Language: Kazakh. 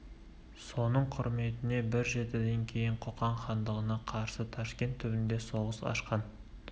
соның құрметіне бір жетіден кейін қоқан хандығына қарсы ташкент түбінде соғыс ашқан